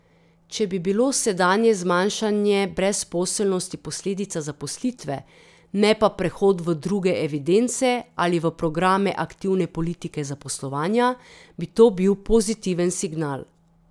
Če bi bilo sedanje zmanjšanje brezposelnosti posledica zaposlitve, ne pa prehod v druge evidence ali v programe aktivne politike zaposlovanja, bi to bil pozitiven signal.